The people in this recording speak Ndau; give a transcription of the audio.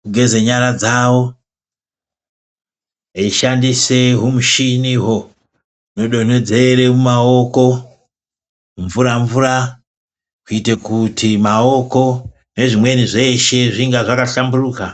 kugeze nyara dzawo eishandise humuchinihwo hunodonhedzere mumaoko humvura mvura kuitira kuti maoko nezvimweni zveshe zvinge zvakahlamburuka.